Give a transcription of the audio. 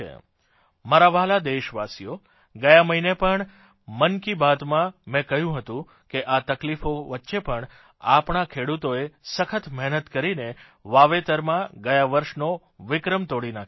મારા વ્હાલા દેશવાસીઓ ગયા મહિને પણ મન કી બાતમાં મેં કહ્યું હતું કે આ તકલીફો વચ્ચે પણ આપણા ખેડૂતોએ સખત મહેનત કરીને વાવેતરમાં ગયા વર્ષનો વિક્રમ તોડી નાખ્યો છે